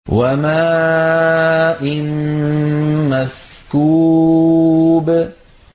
وَمَاءٍ مَّسْكُوبٍ